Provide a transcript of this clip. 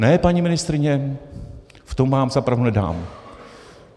Ne, paní ministryně, v tom vám za pravdu nedám.